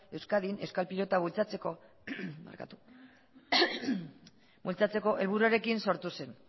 euskadin euskal pilota bultzatzeko helburuarekin sortu zen